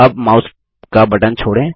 अब माउस का बटन छोड़ें